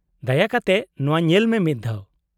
-ᱫᱟᱭᱟ ᱠᱟᱛᱮᱫ ᱱᱚᱶᱟ ᱧᱮᱞ ᱢᱮ ᱢᱤᱫᱽ ᱫᱷᱟᱣ ᱾